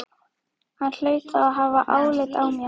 Hann hlaut þá að hafa álit á mér!